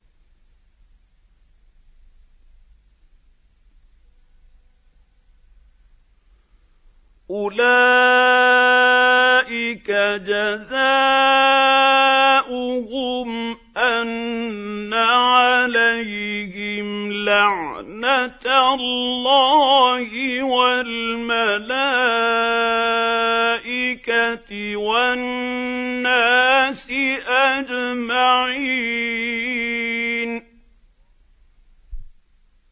أُولَٰئِكَ جَزَاؤُهُمْ أَنَّ عَلَيْهِمْ لَعْنَةَ اللَّهِ وَالْمَلَائِكَةِ وَالنَّاسِ أَجْمَعِينَ